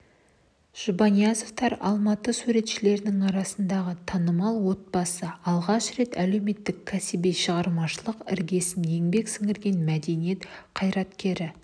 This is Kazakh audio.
жұбаниязовтар алматы суретшілерінің арасындағы танымал отбасы алғаш рет әулеттің кәсіби шығармашылық іргесін еңбек сіңірген мәдениет қайраткері